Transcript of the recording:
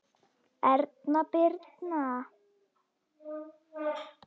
Erna Birna.